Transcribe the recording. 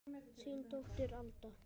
Þín dóttir Alda.